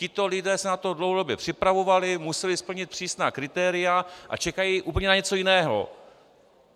Tito lidé se na to dlouhodobě připravovali, museli splnit přísná kritéria a čekají úplně na něco jiného.